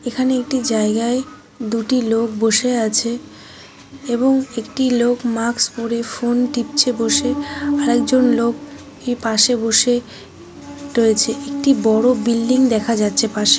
এখানে একটি জায়গায় দুটি লোক বসে আছে এবং একটি লোক মাক্স পড়ে ফোন টিপছে বসে আর একজন লোক কে পাশে বসে রয়েছে একটি বড়ো বিল্ডিং দেখা যাচ্ছে পাশে।